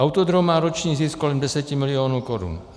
Autodrom má roční zisk kolem 10 milionů korun.